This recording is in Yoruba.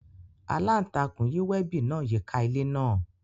Alantakun yi webi naa yika ile naa.